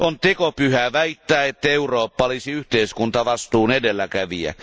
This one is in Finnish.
On tekopyhää väittää, että Eurooppa olisi yhteiskuntavastuun edelläkävijä.